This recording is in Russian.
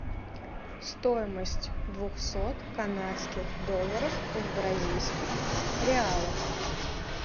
стоимость двухсот канадских долларов в бразильских реалах